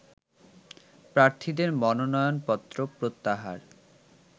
প্রার্থীদের মনোনয়নপত্র প্রত্যাহার